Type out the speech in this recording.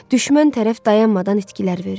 Düşmən tərəf dayanmadan itkilər verir.